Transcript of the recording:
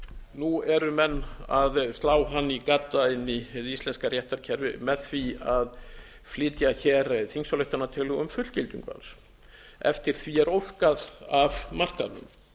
nú eru menn að slá hann í gadda inn í hið íslenska réttarkerfi með því að flytja hér þingsályktunartillögu um fullgildingu hans eftir því er óskað af markaðnum